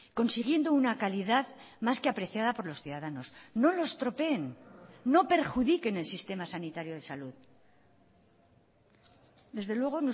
consiguiendo una calidad más que apreciada por los ciudadanos no lo estropeen no perjudiquen el sistema sanitario de salud desde luego